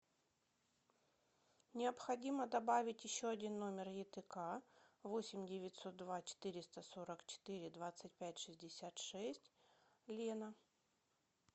необходимо добавить еще один номер етк восемь девятьсот два четыреста сорок четыре двадцать пять шестьдесят шесть лена